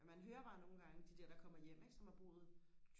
man hører bare nogle gange de der der kommer hjem ikke som har boet